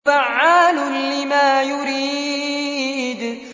فَعَّالٌ لِّمَا يُرِيدُ